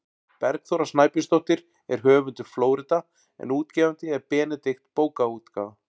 Bergþóra Snæbjörnsdóttir er höfundur „Flórída“ en útgefandi er Benedikt bókaútgáfa.